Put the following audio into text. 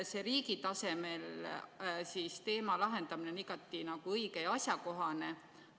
Riigi tasemel selle teema lahendamine on igati õige ja asjakohane.